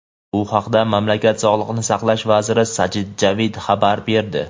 Bu haqda mamlakat Sog‘liqni saqlash vaziri Sajid Javid xabar berdi.